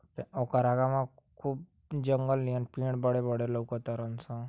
ओकरा आगवा खूब जंगल नियन पेड़ बड़े बड़े लउक ताड़न सन।